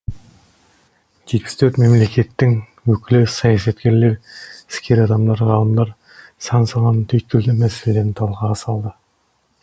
жетпіс төрт мемлекеттің өкілі саясаткерлер іскер адамдар ғалымдар сан саланың түйткілді мәселелерін талқыға салды